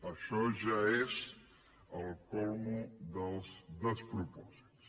això ja és el súmmum dels despropòsits